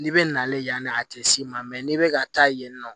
N'i bɛ nale yanni a tɛ s'i ma mɛ n'i bɛ ka taa yen nɔ